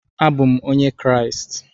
Abụ m Onye Kraịst.